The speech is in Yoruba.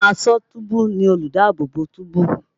Àwọn aṣọ́túbú ni olùdáàbòbò túbú.